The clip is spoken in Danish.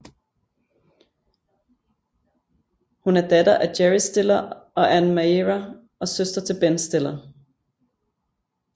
Hun er datter af Jerry Stiller og Anne Meara og søster til Ben Stiller